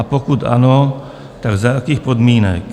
A pokud ano, tak za jakých podmínek?